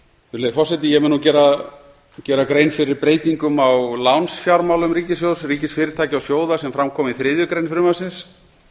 virðulegi forseti ég mun nú gera grein fyrir breytingum á lánsfjármálum ríkissjóðs ríkisfyrirtækja og sjóða sem fram koma í þriðju grein frumvarpsins